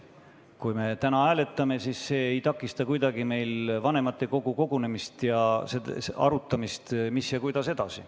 Kui me täna hääletame, siis see ei takista kuidagi vanematekogu kogunemist ja arutamist, mida ja kuidas edasi.